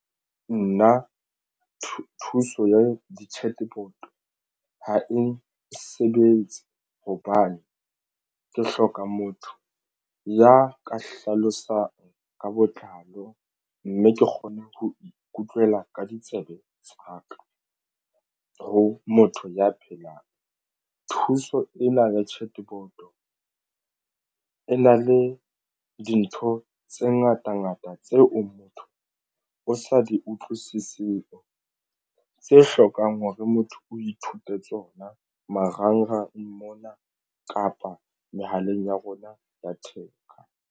Nna thuso ya di-chatbot ha e nsebetse hobane ke hloka motho ya ka hlalosang ka botlalo mme ke kgone ho ikutlwela ka ditsebe tsa ka ho motho ya phelang thuso ena le chatbot e na le dintho tse ngata ngata tseo motho o sa di utlwisiseng tse a hlokang hore motho o ithute tsona. Marangrang mona kapa mehaleng ya rona ya theko.